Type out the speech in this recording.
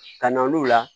Ka na n'u la